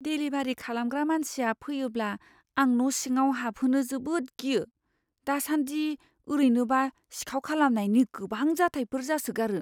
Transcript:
Delivery खालामग्रा मानसिया फैयोब्ला आं न' सिङाव हाबहोनो जोबोद गियो। दासान्दि ओरैनोबा सिखाव खालामनायनि गोबां जाथायफोर जासोगारो।